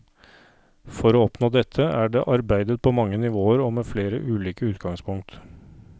For å oppnå dette, er det arbeidet på mange nivåer og med flere ulike utgangspunkt.